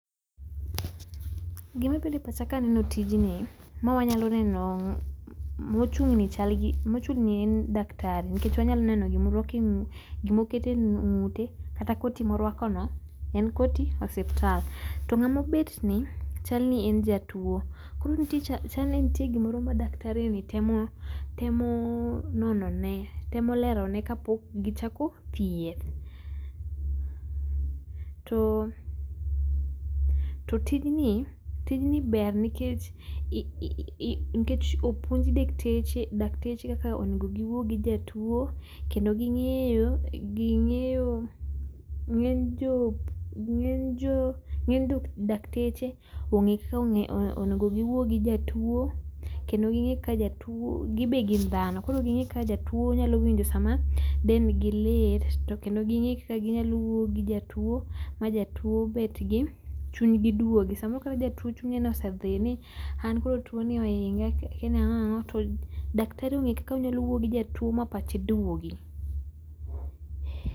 Gima bire pacha kaneno tijni, ma wanyalo neno mochung'ni chal gi mochung'ni en daktari nikech wanyalo neno gimorwako e ng' gimokete ng'ute kata koti morwako no en koti osiptal. To ng'amo bet ni chal ni en jatuo. Koro ntie cha chal ni ntie gimoro ma daktari ni temo oh nonone temo lerone kapok gichako thieth. To to tijni tijni ber nikech ii opuonj dekteche dakteche kaka onego giwuo gi jatuo kendo ging'eyo ging'eyo ng'eny jo ng'eny jo ng'eny dok dakteche ong'e kaka onego giwuo gi jatuo kendo ging'e ka jatuo gibe gin dhano koro ging'e kaka jatuo winjo sama dendigi lit, to kendo ging'e kaka ginyalo wuoyo gi jatuo majatuo bet gi chunygi duogi. Samoro kata jatuo chunye nosedhi ni an koro tuo ni oinga kiani ang'oang'o to daktari ong'eyo kak aonyalo wuoyo gi jatuo ma pache duogi.